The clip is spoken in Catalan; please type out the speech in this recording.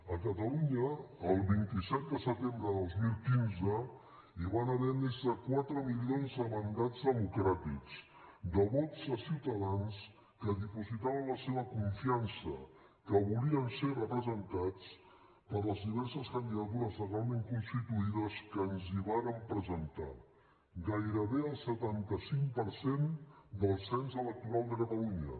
a catalunya el vint set de setembre de dos mil quinze hi van haver més de quatre milions de mandats democràtics de vots de ciutadans que dipositaven la seva confiança que volien ser representats per les diverses candidatures legalment constituïdes que ens hi vàrem presentar gairebé el setanta cinc per cent del cens electoral de catalunya